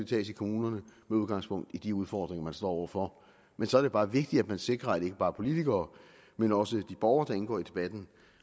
tages i kommunerne med udgangspunkt i de udfordringer man står over for men så er det bare vigtigt at man sikrer at ikke bare politikere men også de borgere der indgår i debatten